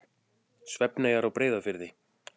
Svefneyjar á Breiðafirði.